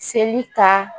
Seli ta